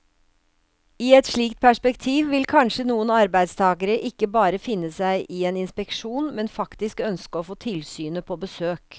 I et slikt perspektiv vil kanskje noen arbeidstagere ikke bare finne seg i en inspeksjon, men faktisk ønske å få tilsynet på besøk.